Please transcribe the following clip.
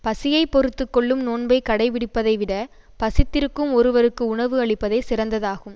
பசியை பொறுத்து கொள்ளும் நோன்பைக் கடைப்பிடிப்பதைவிடப் பசித்திருக்கும் ஒருவருக்கு உணவு அளிப்பதே சிறந்ததாகும்